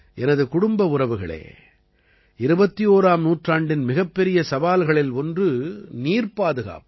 எனது குடும்ப உறவுகளே 21ஆம் நூற்றாண்டின் மிகப்பெரிய சவால்களில் ஒன்று நீர் பாதுகாப்பு